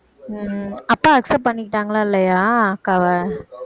உம் அப்பா accept பண்ணிக்கிட்டாங்களா இல்லையா அக்காவ